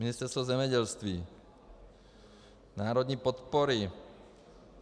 Ministerstvo zemědělství, národní podpory.